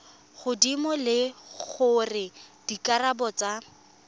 godimo le gore dikarabo tsa